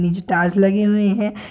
ये जो टाइल्स लगी हुई हैं |